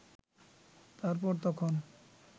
তারপর তখন